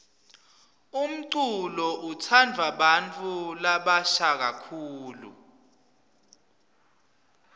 umculo utsandvwa bantfu labasha kakhulu